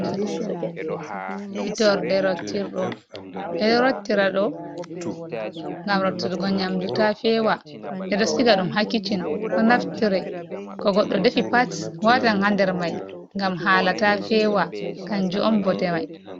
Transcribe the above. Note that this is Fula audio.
Hitorde rotir ɗum, ɓe ɗo rottira ɗo ngam rottirgo nyamdu ta fewa, ɓe ɗo stiga ɗum ha kicin ɗo naftire ko goɗɗo defi pats watan ha nder mai ngam hala ta fewa kanjum on bote mai.